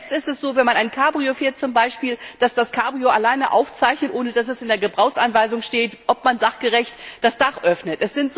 Schon jetzt ist es so, wenn man zum Beispiel ein Cabrio fährt, dass das Cabrio alleine aufzeichnet, ohne dass es in der Gebrauchsanweisung steht, ob man sachgerecht das Dach öffnet.